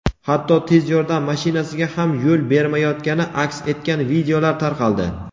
hatto tez yordam mashinasiga ham yo‘l bermayotgani aks etgan videolar tarqaldi.